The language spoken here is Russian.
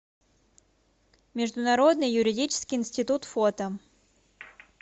международный юридический институт фото